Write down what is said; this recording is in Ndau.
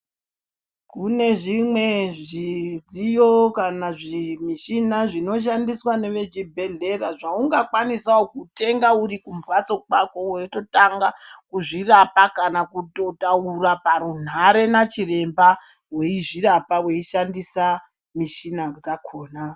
Kune zvimweni zvidziyo kana zvimichina zvinoshandiswa ngeve kuzvibehlera zvaunga kwanisawo kutenga uri kumbatso kwako weitotanga kuzvirapa kana kutotaura parunhare nachiremba weizvirapa weishandisa michina dzakona.